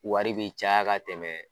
Wari bɛ caya ka tɛmɛ